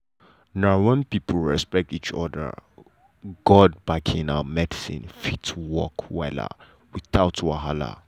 na when people respect each other god backing and medicine fit work wella without wahala.